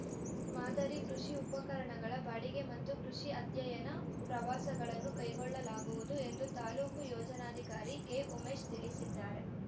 ಮಾದರಿ ಕೃಷಿ ಉಪಕರಣಗಳ ಬಾಡಿಗೆ ಮತ್ತು ಕೃಷಿ ಅಧ್ಯಯನ ಪ್ರವಾಸಗಳನ್ನು ಕೈಗೊಳ್ಳಲಾಗುವುದು ಎಂದು ತಾಲೂಕು ಯೋಜನಾಧಿಕಾರಿ ಕೆ ಉಮೇಶ್‌ ತಿಳಿಸಿದ್ದಾರೆ